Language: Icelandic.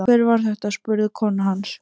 Hver var þetta? spurði kona hans.